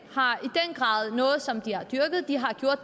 har dyrket det